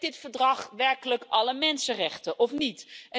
Dekt dit verdrag werkelijk alle mensenrechten of niet?